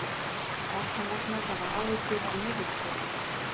Barnalæknar hafa áhyggjur af niðurskurði